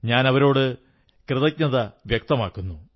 ഞാൻ അവരോട് കൃതജ്ഞത വ്യക്തമാക്കുന്നു